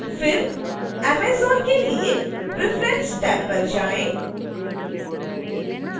फिर amazon के लिए preference टैब पर जाएँ